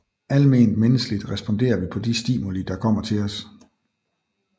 Alment menneskeligt responderer vi på de stimuli der kommer til os